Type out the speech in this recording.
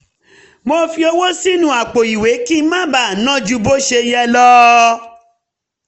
mo fi owó sínú àpò ìwé kí n má ná ju bó ṣe yẹ lọ